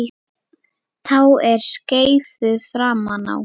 Tá er skeifu framan á.